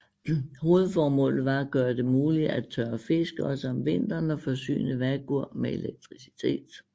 Hovedformålet var at gøre det muligt at tørre fisk også om vinteren og forsyne Vágur med elektricitet